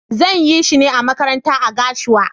Zan yi shine a makaranta a gashua.